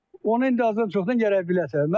Onu indi azdan-çoxdan gərək biləsən.